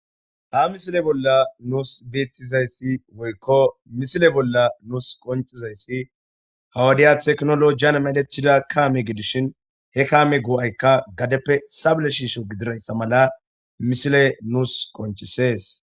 Ha misile bolla nuus beeththizayssi woykko misile bolla nuus qonccizayssi ha wodiya teknoloojiyan medheththida kaame gidishin he kaame go7aykka gadeppe sable shiisho gidirayssa mala misile nuus qonccissees.